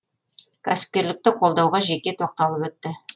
кәсіпкерлікті қолдауға жеке тоқталып өтті